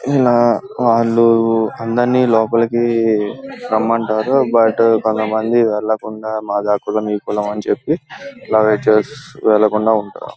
ఈయన వాళ్ళు అందరినీ లోపలికి రమ్మంటారు బట్ కొంతమంది వెళ్ళకుండా మాదా కులం ఈ కులం అని చెప్పి అలా వెళ్ళకుండా ఉంటారు.